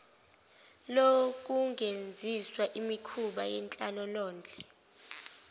lokungenziswa imikhuba yenhlalonhle